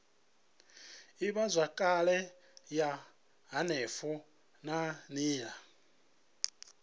ivhazwakale ya henefho na nila